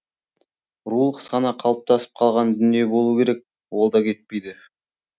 рулық сана қалыптасып қалған дүние болуы керек ол да кетпейді